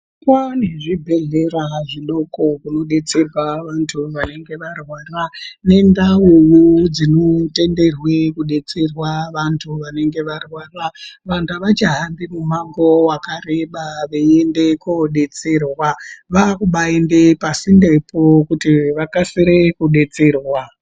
Kwane zvibhedhlera zvidoko zvinodetserwa antu anenge arwara nendau dzinotenderwa kudetsera vanenge varwara vantu avachahambi mimango yakareba kuti vaende kodetserwa vakuhamba pasindepo kuti vaone kudetserwa.